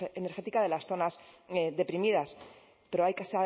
energética de las zonas deprimidas pero hay que